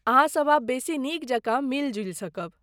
अहाँ सब आब बेसी नीक जकाँ मिलि जुलि सकब।